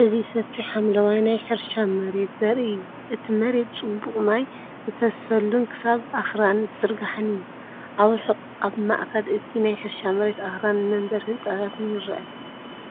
እዚ ሰፊሕ ሓምለዋይ ናይ ሕርሻ መሬት ዘርኢ እዩ። እቲ መሬት ጽቡቕ ማይ ዝፈስሰሉን ክሳብ ኣኽራን ዝዝርጋሕን እዩ። ኣብ ርሑቕ ኣብ ማእከል እቲ ናይ ሕርሻ መሬት ኣኽራንን መንበሪ ህንጻታትን ይርአ።